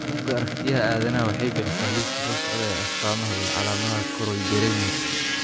Bugga Aaragtiyaha Aadanaha waxay bixisaa liiska soo socda ee astaamaha iyo calaamadaha Choroideremia.